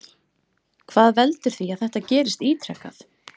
Hvað veldur því að þetta gerist ítrekað?